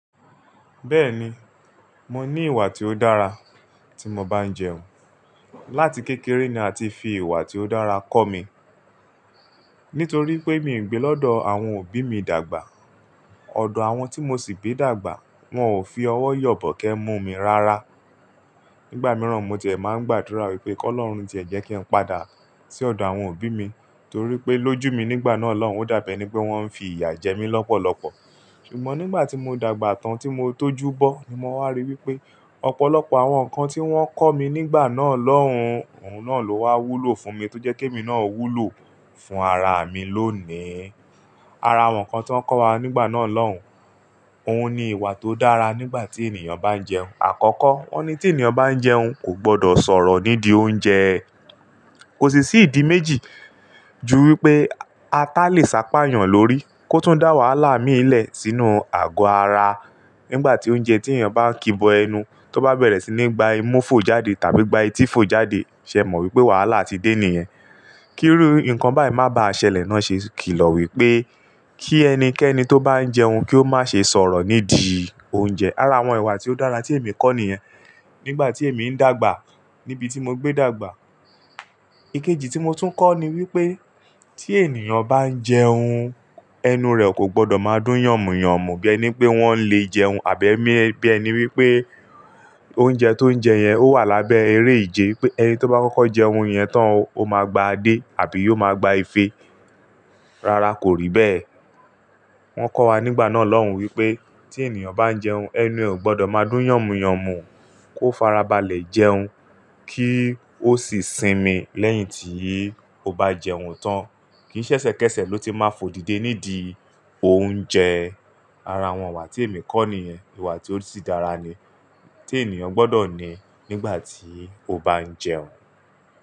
Bẹ́ẹ̀ni, mo ní ìwà tí ó dára tí mo bá ń jẹun. Láti kékeré ni a ti fi ìwà tí ó dára kọ́ mi. Nítorí pé mi ń gbé lọ́dọ̀ àwọn òbí mi dàgbà. Odò àwọn tí mo sì gbé dàgbà, wọn ò fi ọwọ́ yọ̀bọ́ kẹ́ mú mi rárá. Nígbà mìíràn mo ti ẹ máa ń gbàdúrà wípé kó Ọlọ́run jẹ́ kí n padà sí ọ̀dọ̀ àwọn òbí mi, torí pé lójú mi nígbà náà lọ́hùn, ó dà bi ẹ ní pé wọ́n ń fi ìyà jẹ mí lọ́pọ̀lọpọ̀. Ṣùgbọ́n nígbà tí mo dàgbà tán tí mo tó júbọ́ ni mo wá rí wípé ọ̀pọ̀lọpọ̀ àwọn nǹkan tí wọ́n kọ́ mi nígbà náà lọ́hùn, òun náà ló wá wúlò fún mi tó jẹ́ké mi náà wúlò fún ara mi lónìí. Ara àwọn nǹkan tí wọ́n kọ́ wa nígbà náà lọ́hùn, òun ni ìwà tó dára nígbà tí ènìyàn bá ń jẹun. Àkọ́kọ́, wọ́n ní tí ènìyàn bá ń jẹun kò gbọdọ̀ sọ̀rọ̀ nídìí oúnjẹ. Kò sì sí ìdí méjì ju wípé ata le sápá yàn lórí, kó tún dá wàhálà mi í lẹ̀ sínú ago ara. Nígbà tí oúnjẹ tí ènìyàn bá ń kíbọ ẹnu, tó bá bẹ̀rẹ̀ sí ní gba imú fò jáde tàbí gba etí fò jáde, ṣé o mọ wípé wàhálà ti dé ènìyàn? Kírú nǹkan báyìí má bá àṣẹlẹ̀ náà ṣe kìlọ̀ wípé kí ẹnikẹ́ni tó bá ń jẹun kí ó má ṣe sọ̀rọ̀ nídìí oúnjẹ. Ara àwọn ìwà tí ó dára tí èmi kọ́ nìyẹn nígbà tí èmi ń dàgbà níbi tí mo gbé dàgbà. Ikeji tí mo tún kọ́ ni wípé tí ènìyàn bá ń jẹun, ẹnu rẹ̀ kò gbọdọ̀ máa dún yànmu-yànmu bí ẹni pé wọ́n ń le jẹun àbí ẹni bí ẹni wípé oúnjẹ tó ń jẹ yẹn ó wà lábẹ́ eré ìje. Pé ẹni tó bá kọ́kọ́ jẹun yẹn tán, ó máa gba adé àbí yóò máa gba ife. Rárá kò rí bẹ́ẹ̀. Wọ́n kọ́ wa nígbà náà lọ́hùn wípé tí ènìyàn bá ń jẹun, ẹnu rẹ̀ ò gbọdọ̀ máa dún yànmu-yànmu, kó farabalẹ̀ jẹun kí ó sì sinmi lẹ́yìn tí ó bá jẹun tán. Kì í ṣẹ̀ṣẹ̀ kẹ́ṣẹ̀ ló ti máa fò dìde nídìí oúnjẹ. Ara àwọn ìwà tí èmi kọ́ nìyẹn, ìwà tí ó sì dára ni tí ènìyàn gbọdọ̀ ní nígbà tí ó bá ń jẹun.